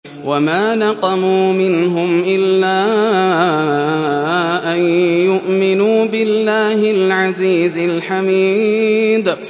وَمَا نَقَمُوا مِنْهُمْ إِلَّا أَن يُؤْمِنُوا بِاللَّهِ الْعَزِيزِ الْحَمِيدِ